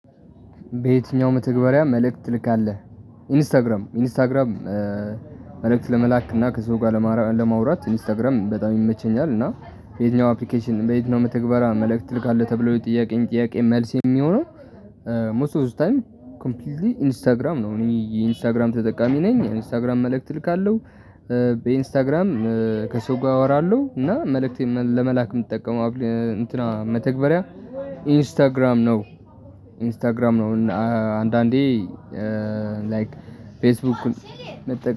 በየትኛውም መተግበሪያ መልእክት ትልክ አለህ? ኢንስታግራም ኢንስታግራም መልእክት ለመላክና ከዚህ ጋር ለማውራት ኢንስታግራም በጣም ይመቸኛል እና የትኛው አፕሊኬሽን በየትኛው መተግበራ መልእክት ትልካለህ ተብሎ የጥያቄን ጥያቄ መልስ የሚሆነው ሞስት ኦል ታይም ኮምፕሊትሊ ኢንስታግራም ነው እኔ ኢንስታግራም ተጠቃሚ ነኝ የኢንስታግራም መልእክት እልካለሁ በኢንስታግራም ከሰጉ አወራለሁ እና መልእክት ለመላክ የምትጠቀመው እንትና መተግበሪያ ኢንስታግራም ነው፤ ኢንስታግራም ነው አንዳንዴ ላይክ ፌስቡክ